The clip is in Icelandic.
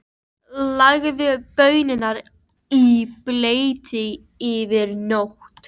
Leggið baunirnar í bleyti yfir nótt.